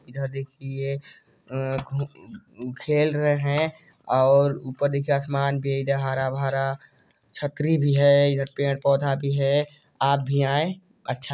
इधर देखिये अअअ खु खेल रे है ऊपर देखिए आसमान हरा दे भरा है छतरी भी है इधर पेड़-पौधा भी है आप भी आए अच्छा --